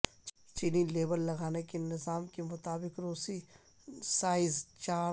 چینی لیبل لگانے کے نظام کے مطابق روسی سائز چارٹ